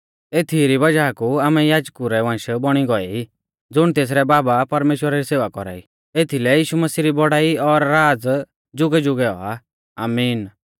एथीई री वज़ाह कु आमै याजकु रै वंश बौणी गौऐ ई ज़ुण तेसरै बाबा परमेश्‍वरा री सेवा कौरा ई एथीलै यीशु मसीह री बौड़ाई और राज़ जुगैजुगै औआ आमीन